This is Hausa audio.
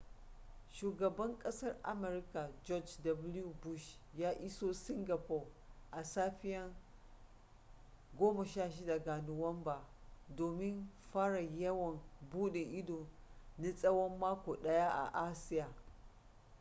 shugaban kasar america george w bush ya iso singapore a safiya 16 ga nuwanba domin fara yawon bude ido na tsawon mako daya a asiya